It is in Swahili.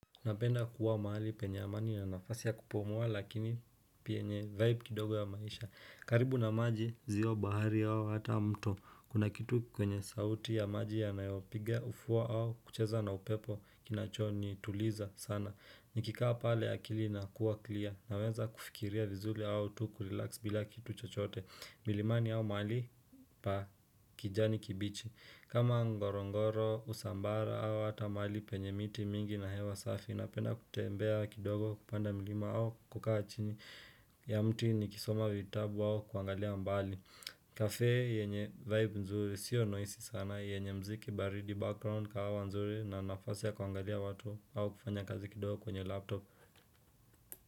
Napenda kuwa mahali penye amani na nafasi ya kupumua lakini pia penye vibe kidogo ya maisha. Karibu na maji ziwa bahari au hata mto Kuna kitu kwenye sauti ya maji ya nayopiga ufuo au kucheza na upepo kinachonituliza sana. Nikikaa pale ya kili na kuwa clear na wenza kufikiria vizuri au tu kurelax bila kitu chochote. Milimani yao mahali pa kijani kibichi. Kama ngorongoro, usambara hawa hata mali penye miti mingi na hewa safi napenda kutembea kidogo kupanda milima hawa kukaa chini ya mti nikisoma vitabu au kuangalia mbali. Kafee yenye vibe nzuri sio noisy sana yenye mziki baridi background kahawa nzuri na nafasi ya kuangalia watu au kufanya kazi kidogo kwenye laptop.